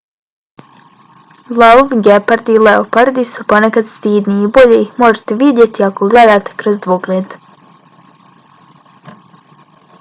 lavovi gepardi i leopardi su ponekad stidni i bolje ih možete vidjeti ako gledate kroz dvogled